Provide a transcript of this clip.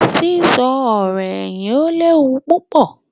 sísọ ọ̀rọ̀-ẹ̀yìn ó lé wu púpọ̀.